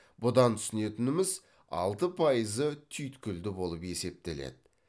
бұдан түсінетініміз алты пайызы түйткілді болып есептеледі